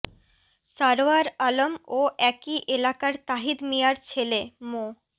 সারোয়ার আলম ও একই এলাকার তহিদ মিয়ার ছেলে মো